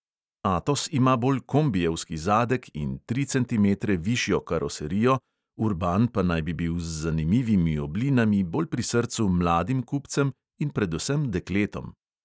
Atos ima bolj kombijevski zadek in tri centimetre višjo karoserijo, urban pa naj bi bil z zanimivimi oblinami bolj pri srcu mladim kupcem in predvsem dekletom.